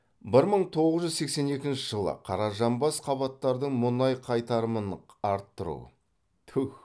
бір мың тоғыз жүз сексен екінші жылы қаражанбас қабаттардың мұнай қайтарымын арттыру